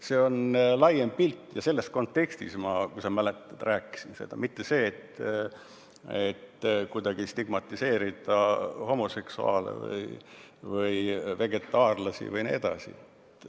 See on laiem pilt ja selles kontekstis me, kui sa mäletad, rääkisime, mitte nii, et kuidagi stigmatiseerida homoseksuaale või vegetaarlasi jne.